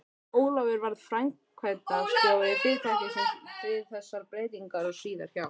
Ólafur varð framkvæmdastjóri fyrirtækisins við þessar breytingar og síðar hjá